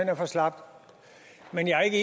er for slapt men jeg er ikke